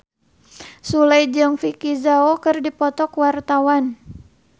Sule jeung Vicki Zao keur dipoto ku wartawan